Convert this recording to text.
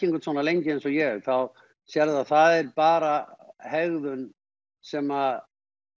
einhvern svona lengi eins og ég þá sérðu að það er bara hegðun sem